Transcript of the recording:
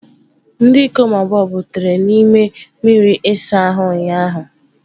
Ndị ikom abụọ butere n'ime mmiri ịsa ahụ ụnyahụ.